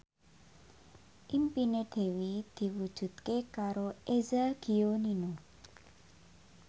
impine Dewi diwujudke karo Eza Gionino